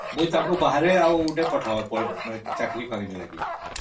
ତାଙ୍କୁ ବାହାରକୁ ପଠେଇବାକୁ ପଡିବ ଚାକିରୀ ଲାଗି